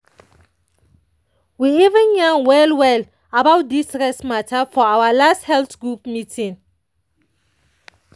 we even yan well-well about this rest matter for our last health group meeting.